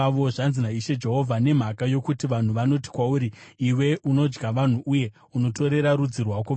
“ ‘Zvanzi naIshe Jehovha: Nokuti vanhu vanoti kwauri, “Iwe unodya vanhu uye unotorera rudzi rwako vana,”